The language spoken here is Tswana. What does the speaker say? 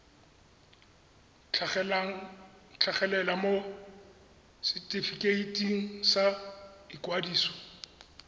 tlhagelela mo setefikeiting sa ikwadiso